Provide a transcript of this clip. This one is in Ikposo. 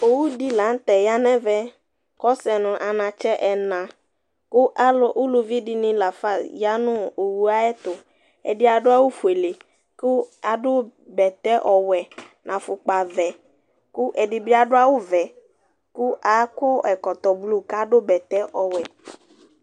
Owu di la n'tɛ ya n'ɛvɛ k'ɔsɛ nʋ anatsɛ ɛna, kʋ alʋ, uluvi dini lafa ya nʋ owu yɛ tʋ Ɛdi adʋ awʋ fuele, kʋ adʋ bɛtɛ ɔwɛ n'aƒʋkɔa vɛ kʋ ɛdi bi adʋ awʋ vɛ kʋ akɔtɔ blu, k'adʋ bɛtɛ ɔwɛ